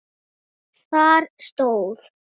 Þar stóð